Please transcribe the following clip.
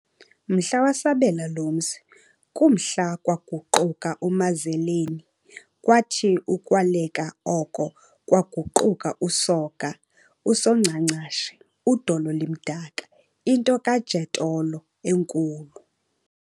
Mhla wasabela lo mzi, kumhla kwaguquka uMazaleni, kwathi ukwaleka oko kwaguquka uSoga, "USongcangcashe, udolo limdaka," into kaJotello enkulu.